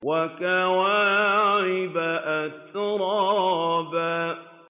وَكَوَاعِبَ أَتْرَابًا